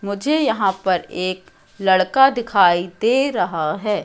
मुझे यहां पर एक लड़का दिखाई दे रहा है।